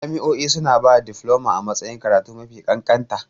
Jami'o'i suna ba da difloma a matsayin karatu mafi kanƙanta.